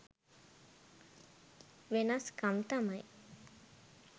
වෙනස් කම් තමයි.